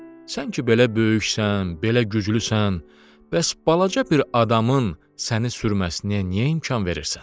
Sən ki, belə böyüksən, belə güclüsən, bəs balaca bir adamın səni sürməsinə niyə imkan verirsən?